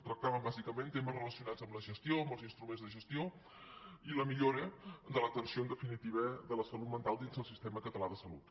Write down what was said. tractaven bàsicament temes relacionats amb la gestió amb els instruments de gestió i la millora de l’atenció en definitiva de la salut mental dins del sistema català de salut